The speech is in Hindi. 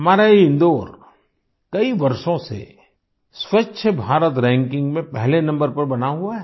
हमारा ये इंदौर कई वर्षों से स्वच्छ भारत रैंकिंग में पहले नम्बर पर बना हुआ है